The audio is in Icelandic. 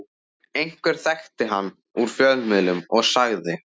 Einhver þekkti hann úr fjölmiðlum og sagði